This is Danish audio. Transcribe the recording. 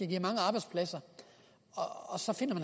give mange arbejdspladser og så finder